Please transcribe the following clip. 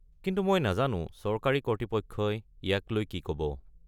কিন্তু মই নাজানো চৰকাৰী কৰ্তৃপক্ষই ইয়াক লৈ কি ক'ব।